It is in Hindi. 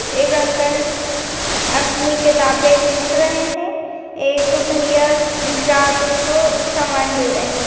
एक अंकल अपनी किताबें ढूंढ रहे हैं एक भैया ग्राहकों को समान दे रहे हैं।